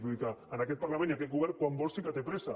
vull dir que en aquest parlament aquest govern quan vol sí que té pressa